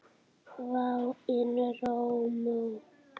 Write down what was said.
Vá, en rómó.